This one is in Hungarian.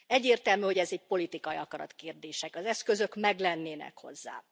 Egyértelmű, hogy ez egy politikai akarat kérdése, az eszközök meglennének hozzá.